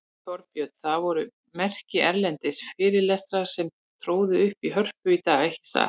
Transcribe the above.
Þorbjörn, það voru merkir erlendir fyrirlesarar sem tróðu upp í Hörpu í dag, ekki satt?